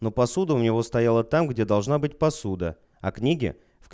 но посуда у него стояла там где должна быть посуда а книги